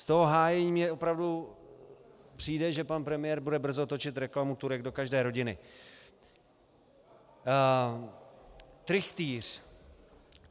Z toho hájení mi opravdu přijde, že pan premiér bude brzy točit reklamu "Turek do každé rodiny".